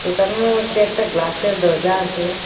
দোকানের মধ্যে একটা গ্লাসের দরজা আসে।